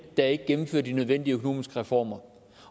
der ikke gennemfører de nødvendige økonomiske reformer